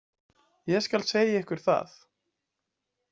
Ég skal segja ykkur það.